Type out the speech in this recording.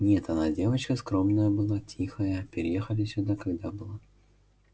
нет она девочка скромная была тихая переехали сюда когда была